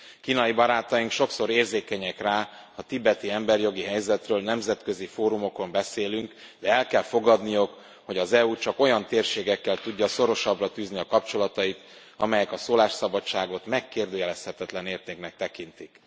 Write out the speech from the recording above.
Kínai barátaink sokszor érzékenyek rá, ha a tibeti emberi jogi helyzetről nemzetközi fórumokon beszélünk, de el kell fogadniuk, hogy az EU csak olyan térségekkel tudja szorosabbra fűzni a kapcsolatait, amelyek a szólásszabadságot megkérdőjelezhetetlen értéknek tekintik.